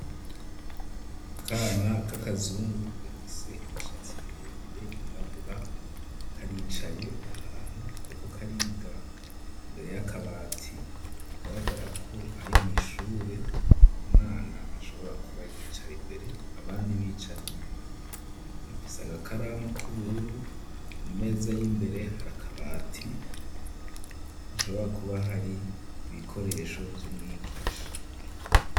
Akana kaka zungu gafise imishatsi miremire yirabura karicaye ahantu kariko kariga imbere y'akabati hagaragara ko ari mw'ishure umwana ashobora kuba yicara imbere abandi bicara inyuma afise aga karamu k'ubururu ku meza y'imbere hari akabati hashobora kuba hari ibikoresho vy'umwigisha.